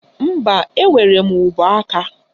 Mba, enwere m ụbọaka